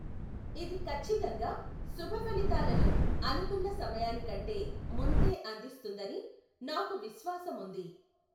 ఇది కచ్చితంగా శుభఫలితాలను అనుకున్న సమయానికంటే ముందే అందిస్తుందని నాకు విశ్వాసముంది.